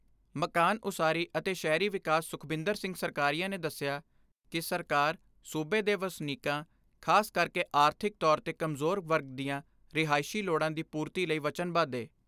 ਮਕਾਨ ਉਸਾਰੀ ਅਤੇ ਸ਼ਹਿਰੀ ਵਿਕਾਸ ਸੁਖਬਿੰਦਰ ਸਿੰਘ ਸਰਕਾਰੀਆ ਨੇ ਦੱਸਿਆ ਕਿ ਸਰਕਾਰ ਸੂਬੇ ਦੇ ਵਸਨੀਕਾਂ ਖਾਸ ਕਰਕੇ ਆਰਥਿਕ ਤੌਰ ਤੇ ਕਮਜੋਰ ਵਰਗ ਦੀਆਂ ਰਿਹਾਇਸ਼ੀ ਲੋੜਾਂ ਦੀ ਪੂਰਤੀ ਲਈ ਵਚਨਬੱਧ ਏ।